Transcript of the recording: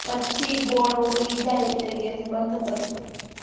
પછી ગોળ ઓગળી જાય એટલે ગેસ બંધ કરી લો